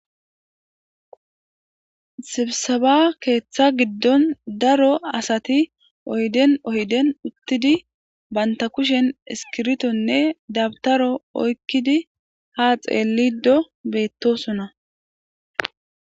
Sibsaba keeththa giddon daro asati ohden ohden uttidi baynta kushen iskirtonne dabtaro oykkidi ha xeelido beettosona.